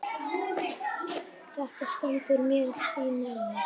Þetta stendur mér því nærri.